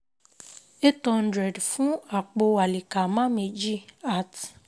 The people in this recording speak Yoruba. Eight hundred fún àpò Àlìkàmáà méjì at